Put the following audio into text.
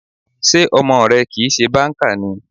Sé ọmọ rẹ kìí ṣe banker ni?